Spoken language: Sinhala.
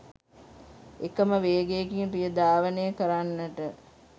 එකම වේගයකින් රිය ධාවනය කරන්නට